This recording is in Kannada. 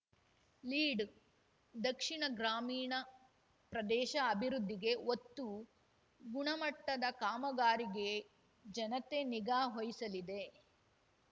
ಲೀಡ್‌ ದಕ್ಷಿಣ ಗ್ರಾಮೀಣ ಪ್ರದೇಶ ಅಭಿವೃದ್ಧಿಗೆ ಒತ್ತು ಗುಣಮಟ್ಟದ ಕಾಮಗಾರಿಗೆ ಜನತೆ ನಿಗಾ ವಹಿಸಲಿದೆ